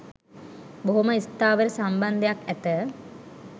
බොහොම ස්ථාවර සම්බන්ධයක් ඇත